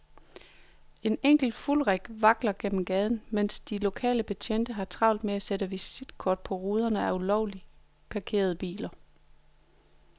En enkelt fulderik vakler gennem gaden, mens de lokale betjente har travlt med at sætte visitkort på ruderne af ulovligt parkerede biler.